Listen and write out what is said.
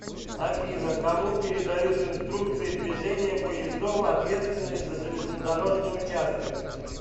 афина кому передают инструкции движения поездов ответственные за железнодорожный участок